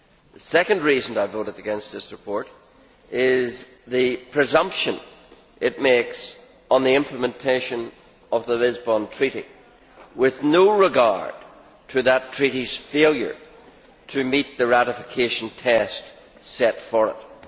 The second reason I voted against this report is the presumption it makes on the implementation of the Lisbon Treaty, with no regard to that Treaty's failure to meet the ratification test set for it.